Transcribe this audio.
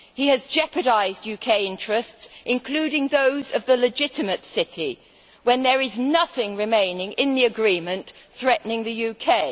He has jeopardised UK interests, including those of the legitimate City, when there is nothing remaining in the agreement threatening the UK.